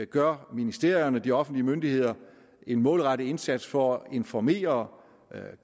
gør ministerierne og de offentlige myndigheder en målrettet indsats for at informere